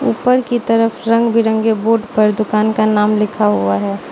ऊपर की तरफ रंग बिरंगे बोर्ड पर दुकान का नाम लिखा हुआ है।